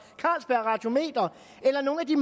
carlsberg radiometer eller nogle af de